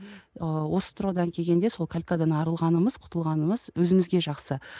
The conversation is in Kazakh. ыыы осы тұрғыдан келгенде сол калькадан арылғанымыз құтылғанымыз өзімізге жақсы